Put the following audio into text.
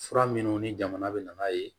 Fura minnu ni jamana bɛ na ye